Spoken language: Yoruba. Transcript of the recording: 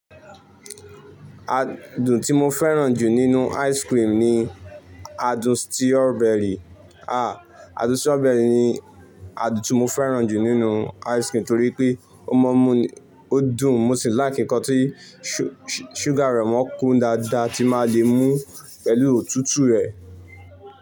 Adùn tí mo fẹ́ràn jù nínú ice cream ni adùn strawberry. Adùn strawberry ni adùn tí mo fẹ́ràn jù nínú ice cream torí pé ó mọ mú, ó dùn, mo sì lákì nkán tí sugar rẹ̀ mọ́ kun dáadáa tí má lè mú pẹ̀lú òtútù rẹ̀